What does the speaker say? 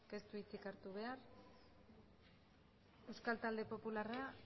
ez du hitzik hartu behar euskal talde popularra